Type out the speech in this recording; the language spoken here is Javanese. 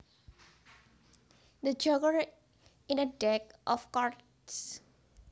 The joker in a deck of cards